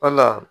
Wala